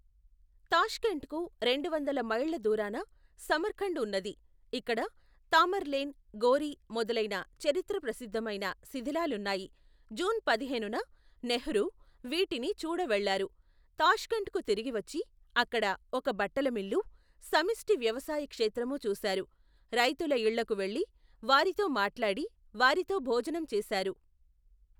Tashkent కు, రెండువందల మైళ్ళ దూరాన, సమర్కండ్ ఉన్నది, ఇక్కడ, తామర్లేన్, గోరీ, మొదలైన, చరిత్రప్రసిద్దమైన, శిథిలాలున్నాయి, జూన్ పదిహేను న, నెహ్రూ, వీటిని చూడ వెళ్ళారు, తాష్కెంట్ కు తిరిగివచ్చి, అక్కడ, ఒక బట్టలమిల్లు, సమిష్టి వ్యవసాయ క్షేత్రము చూశారు, రైతుల ఇళ్ళకు వెళ్ళి, వారితో మాట్లాడి, వారితో భోజనం చేశారు.